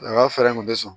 Nka fɛɛrɛ kun tɛ sɔn